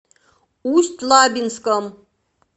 усть лабинском